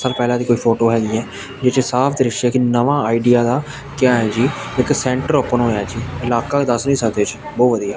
ਪਹਿਲਾ ਦੀ ਕੋਈ ਫੋਟੋ ਹੈਗੀ ਆ ਜਿਹਦੇ ਚ ਸਾਫ ਦ੍ਰਿਸ਼ ਆ ਕਿ ਨਵਾਂ ਆਈਡੀਆ ਦਾ ਕਿਆ ਆ ਜੀ ਇੱਕ ਸੈਂਟਰ ਓਪਨ ਹੋਇਆ ਜੀ ਇਲਾਕਾ ਦੱਸ ਨਹੀਂ ਸਕਦੇ ਜੀ ਬਹੁਤ ਵਧੀਆ--